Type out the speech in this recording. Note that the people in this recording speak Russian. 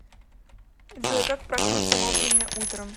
джой как проснуться вовремя утром